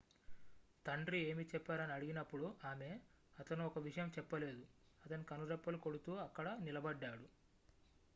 "తండ్రి ఏమి చెప్పారు అని అడిగినప్పుడు ఆమె "అతను ఒక విషయం చెప్పలేదు - అతను కనురెప్పలు కొడుతూ అక్కడ నిలబడ్డాడు.""